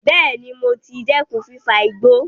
Bẹẹ̀ni, mo ti dẹ́kun fífa igbó